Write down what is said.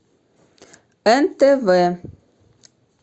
нтв